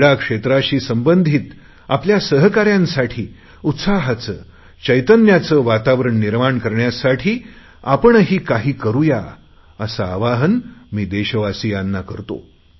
क्रीडा क्षेत्रासाठी संबंधित आपल्या सहकाऱ्यांसाठी उत्साहाचे चैतन्याचे वातावरण निर्माण करण्यासाठी आपणही काही करुया असे आवाहन मी देशवासियांना करतो